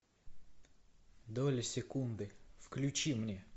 доли секунды включи мне